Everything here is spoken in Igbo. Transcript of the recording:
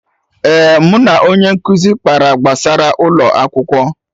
Eh, mụ na onye nkụzi kpara gbasara ụlọ akwụkwọ